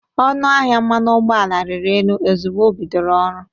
Ọnụ ahịa mmanụ ụgbọ ala riri elu ozụgbọ o bidoro ọrụ.